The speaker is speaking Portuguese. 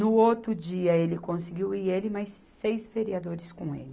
No outro dia ele conseguiu ir, ele e mais seis vereadores com ele.